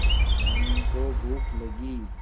धनी को भूख लगी